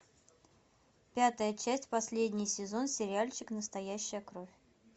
пятая часть последний сезон сериальчик настоящая кровь